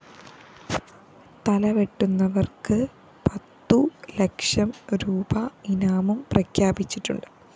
തലവെട്ടുന്നവര്‍ക്ക് പത്തു ലക്ഷം രൂപീ ഇനാമും പ്രഖ്യാപിച്ചിട്ടുണ്ട്